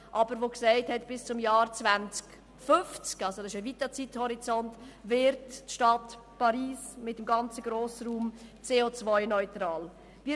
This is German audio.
Aber seitens der Stadt Paris ist gesagt worden, man werde bis zum Jahr 2050 – das ist ein weiter Zeithorizont – CO-neutral sein.